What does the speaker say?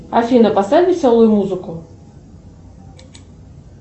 афина поставь веселую музыку